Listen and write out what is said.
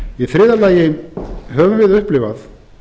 í þriðja lagi höfum við upplifað